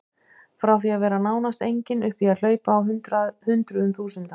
Frá því að vera nánast engin upp í að hlaupa á hundruðum þúsunda.